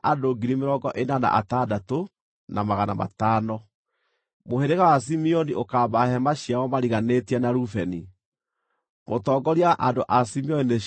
Mũhĩrĩga wa Simeoni ũkaamba hema ciao mariganĩtie na Rubeni. Mũtongoria wa andũ a Simeoni nĩ Shelumieli mũrũ wa Zurishadai.